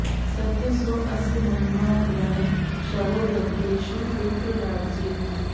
स॒त्यः सो अ॑स्य महि॒मा गृ॑णे॒ शवो॑ य॒ज्ञेषु॑ विप्र॒राज्ये॑